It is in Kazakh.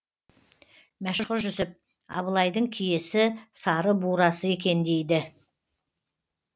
мәшһүр жүсіп абылайдың киесі сары бурасы екен дейді